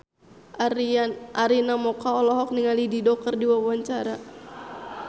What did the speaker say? Arina Mocca olohok ningali Dido keur diwawancara